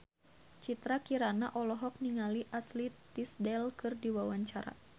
Citra Kirana olohok ningali Ashley Tisdale keur diwawancara